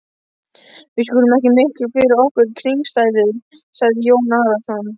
Við skulum ekki mikla fyrir okkur kringumstæður, sagði Jón Arason.